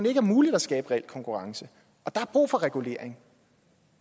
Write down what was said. ikke er muligt at skabe reel konkurrence og der er brug for regulering